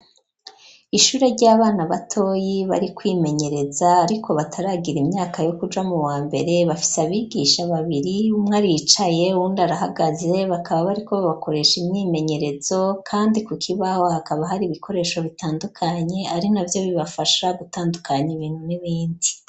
Ishure ry'abana batoyi bari kwimenyereza, ariko bataragira imyaka yo kuja mu wa mbere ,bafise abigisha babiri umwa ricaye, undi arahagaze ,bakaba bariko babakoresha imwimenyerezo, kandi ku kibaho hakaba hari ibikoresho bitandukanye ,ari na vyo bibafasha gutandukanya ibintu n'ibindi.